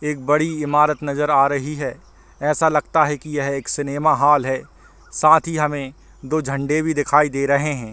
एक बड़ी ईमारत नज़र आ रही है ऐसा लगता है की यह एक बड़ी सिनेमा हॉल है साथ ही हमे दो झंडे भी दिखाई दे रहे हैं।